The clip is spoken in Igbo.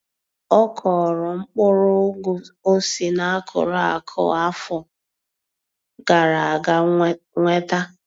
Ọ kọrọ mkpụrụ Ụgụ o si na akụrụ akụ afọ gara aga nweta.